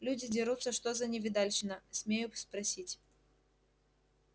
люди дерутся что за невидальщина смею спросить